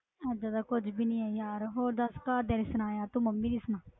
ਏਦਾਂ ਦਾ ਕੁੱਝ ਵੀ ਨੀ ਹੈ ਯਾਰ, ਹੋਰ ਦੱਸ ਘਰਦਿਆਂ ਦੀ ਸੁਣਾ ਯਾਰ, ਤੂੰ ਮੰਮੀ ਦੀ ਸੁਣਾ,